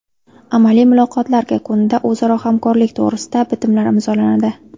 Amaliy muloqotlar yakunida o‘zaro hamkorlik to‘g‘risida bitimlar imzolanadi.